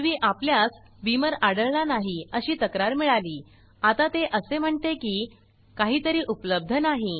पूर्वी आपल्यास बीमर आढळला नाही अशी तक्रार मिळाली आता ते असे म्हणते की काहीतरी उपलब्ध नाही